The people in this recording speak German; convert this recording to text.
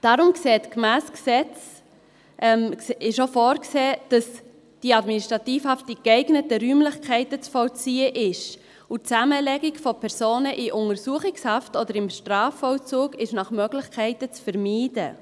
Deshalb ist gemäss Gesetz auch vorgesehen, dass die Administrativhaft in geeigneten Räumlichkeiten zu vollziehen ist, und die Zusammenlegung mit Personen in Untersuchungshaft oder im Strafvollzug ist nach Möglichkeiten zu vermeiden.